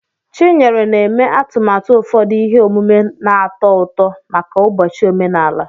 Chinyere na-eme atụmatụ ụfọdụ ihe omume na-atọ ụtọ maka ụbọchị omenala.